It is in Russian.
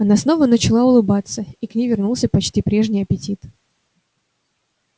она снова начала улыбаться и к ней вернулся почти прежний аппетит